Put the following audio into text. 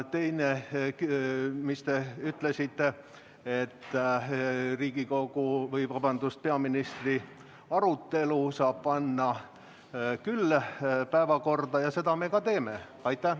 Teise küsimuse kohta, mis te küsisite: peaministri arutelu saab panna küll päevakorda ja seda me ka teeme.